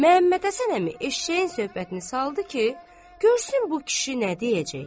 Məmmədhəsən əmi eşşəyin söhbətini saldı ki, görsün bu kişi nə deyəcək.